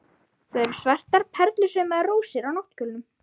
Það eru svartar perlusaumaðar rósir á náttkjólnum.